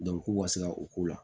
k'u ka se ka u ko la